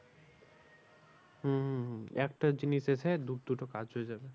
হম হম হম একটা জিনিস এসে দু দুটো কাজ হয়ে যাবে।